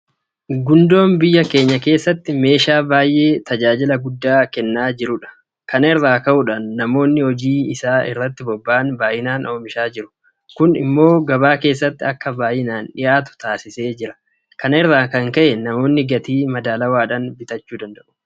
Gundoon biyya keenya keessatti meeshaa baay'ee tajaajila guddaa kennaa jirudha. Kana irraa ka'uudhaan namoonni hojii isaa irratti bobba'an baay'inaan oomishaa jiru. Kun immoo gabaa keessatti akka baay'inaan dhiyaatu taasiseera. Kana irraa kan ka'e namoonni gatii madaalawaadhaan bitatu.